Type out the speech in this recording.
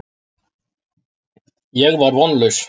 Ég var vonlaus.